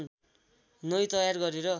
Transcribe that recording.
नै तयार गरेर